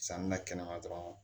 Sanni na kɛnɛma dɔrɔn